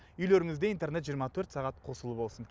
үйлеріңізде интернет жиырма төрт сағат қосулы болсын